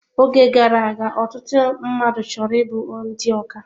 Oge gara aga, ọtụtụ mmadụ chọrọ ịbụ ndị ọkà